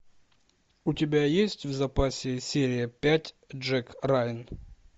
у тебя есть в запасе серия пять джек райан